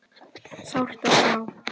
Sárt að sjá